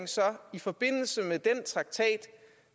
i forbindelse med den traktat